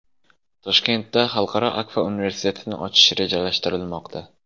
Toshkentda Xalqaro Akfa universitetini ochish rejalashtirilmoqda.